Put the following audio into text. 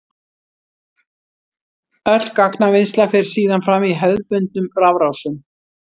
Öll gagnavinnsla fer síðan fram í hefðbundnum rafrásum.